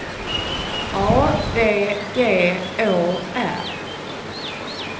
A V G Å R